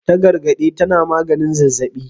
Tagargade tana maganin zazzabi.